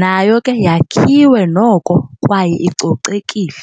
nayo ke yakhiwe noko kwaye icocekile.